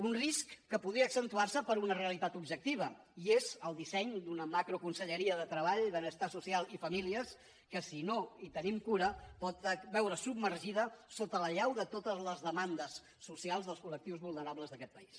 un risc que podria accentuar se per una realitat objectiva i és el disseny d’una macroconselleria de treball benestar social i famílies que si no hi tenim cura pot veure’s submergida sota l’allau de totes les demandes socials dels col·lectius vulnerables d’aquest país